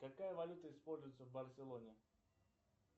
какая валюта используется в барселоне